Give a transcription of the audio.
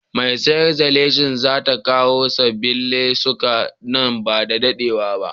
Mai sayar da leshin za ta kawo sabbin lesuka nan ba da daɗewa ba.